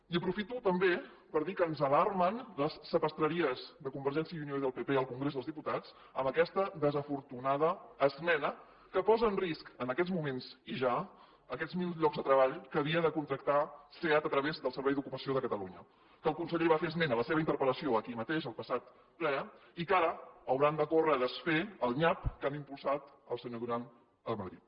i aprofito també per dir que ens alarmen les sapastreries de convergència i unió i del pp al congrés dels diputats amb aquesta desafortunada esmena que posa en risc en aquests moments i ja aquests mil llocs de treball que havia de contractar seat a través del servei d’ocupació de catalunya que el conseller en va fer esment en la seva interpel·lació aquí mateix el passat ple i que ara hauran de córrer a desfer el nyap que ha impulsat el senyor duran a madrid